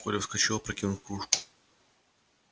коля вскочил опрокинув кружку